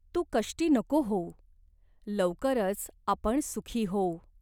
तू कष्टी नको होऊ. लवकरच आपण सुखी होऊ.